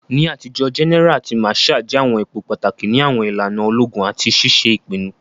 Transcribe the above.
Ni atijo, gẹ́nẹ́ra àti màsháà jẹ àwọn ipò pàtàkì ni àwọn ìlànà ológun àti ṣiṣe ìpinnu.